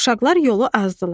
Uşaqlar yolu azdılar.